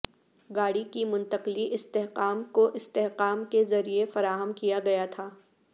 گاڑی کی منتقلی استحکام کو استحکام کے ذریعہ فراہم کیا گیا تھا